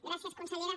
gràcies consellera